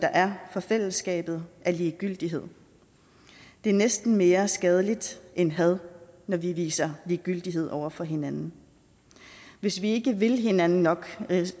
er for fællesskabet er ligegyldighed det er næsten mere skadeligt end had når vi viser ligegyldighed over for hinanden hvis ikke vi vil hinanden nok